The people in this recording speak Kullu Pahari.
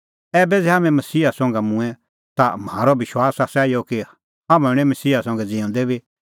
ऐबै ज़ै हाम्हैं मसीहा संघै मूंऐं ता म्हारअ विश्वास आसा इहअ कि हाम्हैं हणैं मसीहा संघै ज़िऊंदै बी